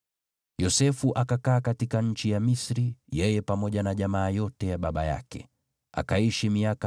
Yosefu akakaa katika nchi ya Misri, yeye pamoja na jamaa yote ya baba yake. Akaishi miaka 110,